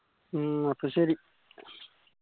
മ്മ് അപ്പൊ ശെരി